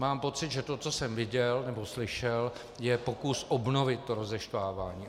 Mám pocit, že to, co jsem viděl nebo slyšel, je pokus obnovit to rozeštvávání.